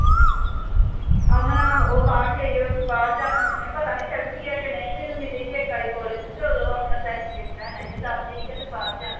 ਅਮਨ ਆਹੋ ਉਹ ਬਾਹਰ ਗਈ ਆ, ਬਾਹਰ ਜਾਣਾ ਸੀ ਉਹਨੇ। ਪਤਾ ਨੀਂ ਚਲ ਗਈ ਆ ਕਿ ਨਹੀਂ। ਮੈਨੂੰ ਮਿਲੀ ਸੀ ਇੱਕ ਵਾਰੀ college ਚ ਤੇ ਉਦੋਂ ਆਪਣਾ ਉਹ ਦੱਸਦੀ ਸੀ, ਕਹਿੰਦੀ ਬਾਹਰ ਜਾਣਾ।